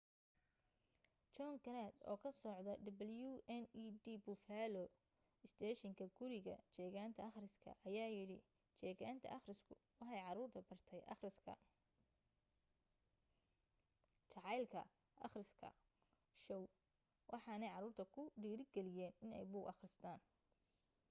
john grant oo ka soda wned buffalo isteeshinka guriga jeegaanta akhriska ayaa yidhi jeegaanta akhrisku waxay caruurta bartay akhriska,... jacaylka akhriska — [shoow] waxaanay caruurta ku dhiirigeliyeen inay buug akhristaan